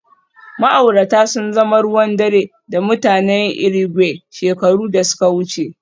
Ma'aurata sun zama ruwan dare da mutanen Irigwe shekaru da suka wuce